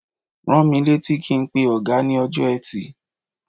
Rán mi létí kí n pe ọ̀gá ní ọjọ́ Ẹtì.